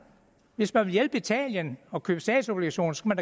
hvis man vil hjælpe italien og købe statsobligationer skal